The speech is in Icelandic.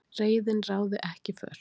Reiðin ráði ekki för